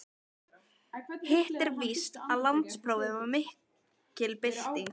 Hitt er víst að landsprófið var mikil bylting.